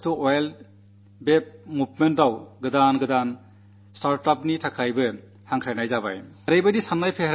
waste to wealth പദ്ധതിയിൽ പുതിയ പുതിയ സ്റ്റാർട്ട്അപ്പുകൾക്കായി ഞാൻ യുവാക്കളെ ക്ഷണിക്കുന്നു